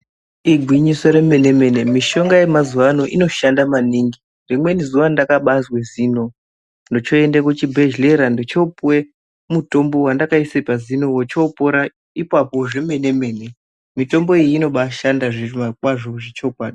Igwinyiso remene mene, mishonga yemazuwano inoshanda maningi. Rimweni zuva ndakabazve zino, ndochoyende kuchibhedhlera, ndochopuwe mutombo wandakayise pazino, wochopora ipapo zvemene mene. Mitombo iyi inobashanda zviro kwazvo chokwadi.